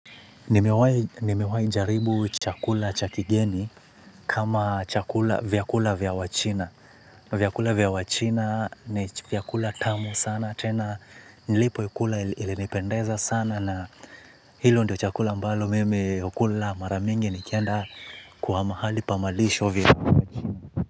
Nimewahi jaribu chakula cha kigeni kama vyakula vya wachina. Vyakula vya wachina ni vyakula tamu sana tena nilipo ikula ilinipendeza sana na hiyo ndio chakula ambayo mimi hukula mara mingi nikienda kwa mahali pa malisho vya wachina.